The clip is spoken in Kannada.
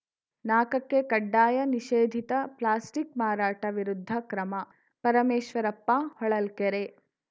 ನಾಕ ಕ್ಕೆಕಡ್ಡಾಯನಿಷೇಧಿತ ಪ್ಲಾಸ್ಟಿಕ್‌ ಮಾರಾಟ ವಿರುದ್ಧ ಕ್ರಮ ಪರಮೇಶ್ವರಪ್ಪ ಹೊಳಲ್ಕೆರೆ